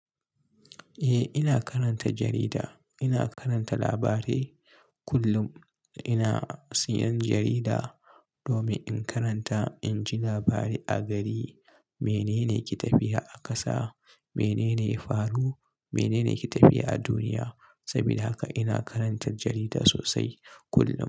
Eh, ina karanta jarida. Ina karanta labarai kullum. Ina siyan jarida domin in karanta, in ji labarai a gari. Menene ake tafiya a ƙasa, menene ya faru, menene ake tafiya a duniya. Sabida haka ina karanta jarida sosai kullum.